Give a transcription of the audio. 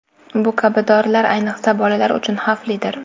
Bu kabi dorilar ayniqsa bolalar uchun xavflidir.